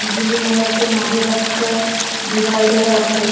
Building দেখা যাচ্ছে মাঝে একটা ডিভাইডার আছে ।